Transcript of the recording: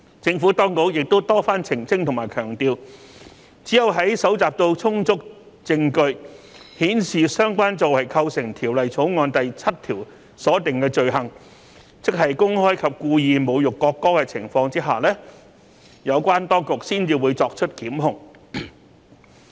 政府當局亦多番澄清和強調，只有在搜集到充足證據顯示相關作為構成《條例草案》第7條所訂的罪行，即公開及故意侮辱國歌的情況之下，有關當局才會作出檢控。